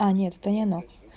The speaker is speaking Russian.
а нет это не она